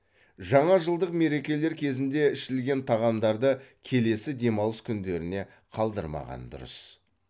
жаңа жылдық мерекелер кезінде ішілген тағамдарды келесі демалыс күндеріне қалдырмаған дұрыс